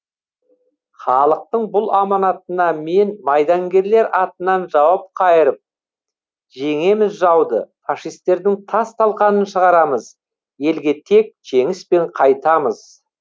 халықтың бұл аманатына мен майдангерлер атынан жауап қайырып жеңеміз жауды фашистердің тас талқанын шығарамыз елге тек жеңіспен қайтамыз